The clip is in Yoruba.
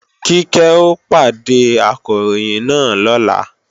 Kíkẹ́ ó pàdé Akọ̀ròyìn náà lọ́la